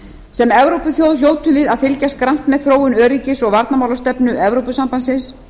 sem evrópuþjóð hljótum við að fylgjast grannt með þróun öryggis og varnarmálastefnu evrópusambandsins